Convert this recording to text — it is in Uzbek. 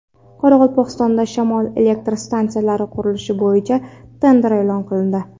Qoraqalpog‘istonda shamol elektr stansiyalari qurilishi bo‘yicha tender e’lon qilindi.